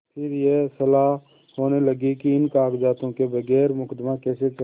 फिर यह सलाह होने लगी कि इन कागजातों के बगैर मुकदमा कैसे चले